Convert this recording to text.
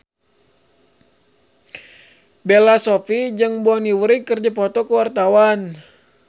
Bella Shofie jeung Bonnie Wright keur dipoto ku wartawan